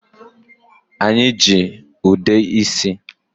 Anyị ji ude isi.